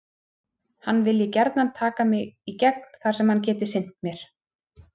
Hann vilji gjarnan taka mig í gegn þar sem hann geti sinnt mér.